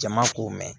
Jama k'o mɛn